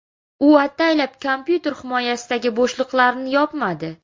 U ataylab kompyuter himoyasidagi bo‘shliqlarini yopmadi.